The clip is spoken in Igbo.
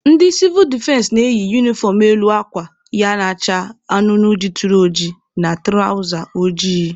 Ndị sivụl defense na-eyi unifọm elu akwa ya na-acha anụnụ jituru oji na tụrawza ojii.